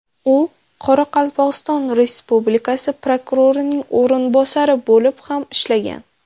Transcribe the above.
U Qoraqalpog‘iston Respublikasi prokurorining o‘rinbosari bo‘lib ham ishlagan.